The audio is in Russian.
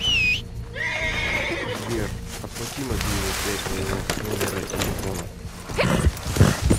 сбер оплати мобильную связь моего номера телефона